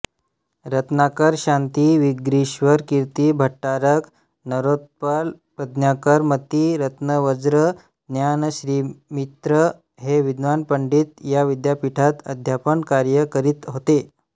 रत्नाकरशांती वागीश्वरकीर्ती भट्टारक नरोत्पल प्रज्ञाकरमती रत्नवज्र ज्ञानश्रीमित्र हे विद्वान पंडित या विद्यापीठात अध्यापनकार्य करीत होते